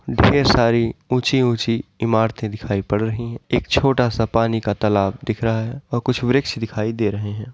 ढेर सारी ऊँची- ऊँची इमारतें दिखाई पड़ रही हैं। एक छोटा सा पानी का तालाब दिख रहा हैं और कुछ वृक्ष दिखाई दे रहे हैं।